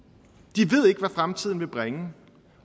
de ved ikke hvad fremtiden vil bringe